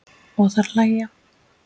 Og þær hlæja.